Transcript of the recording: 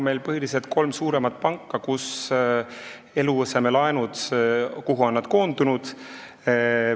Meil on põhiliselt kolm suuremat panka, kuhu eluasemelaenud on koondunud.